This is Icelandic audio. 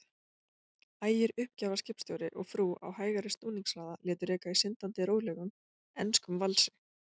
Ægir uppgjafaskipstjóri og frú á hægari snúningshraða, létu reka í syndandi rólegum, enskum valsi.